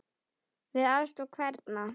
Með aðstoð hverra?